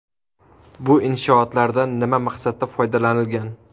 Bu inshootlardan nima maqsadda foydalanilgan?